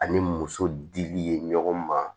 Ani muso dili ye ɲɔgɔn ma